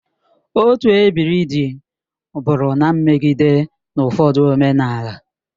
Otu ebiri dị bụrụ na mmagide n'ụfọdụ omenala.